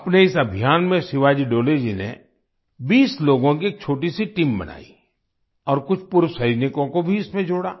अपने इस अभियान में शिवाजी डोले जी ने 20 लोगों की एक छोटीसी टीम बनाई और कुछ पूर्व सैनिकों को भी इसमें जोड़ा